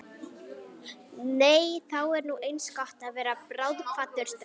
Nei þá er nú eins gott að verða bráðkvaddur strax.